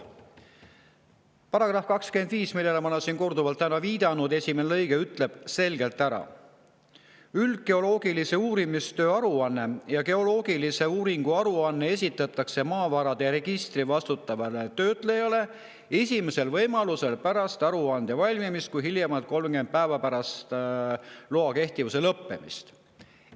Maapõueseaduse § 25, millele ma olen siin täna juba viidanud, ütleb lõikes 1 selgelt: "Üldgeoloogilise uurimistöö aruanne ja geoloogilise uuringu aruanne esitatakse maavarade registri vastutavale töötlejale esimesel võimalusel pärast aruande valmimist, kuid hiljemalt 30 päeva pärast loa kehtivuse lõppemist.